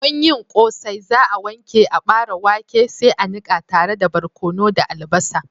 Don yin Ƙosai za'a wanke aɓare wake sai a niƙa tare da barkono da albasa.